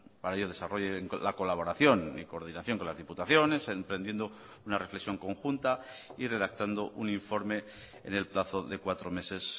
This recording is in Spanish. para ello desarrollen la colaboración y coordinación con las diputaciones emprendiendo una reflexión conjunta y redactando un informe en el plazo de cuatro meses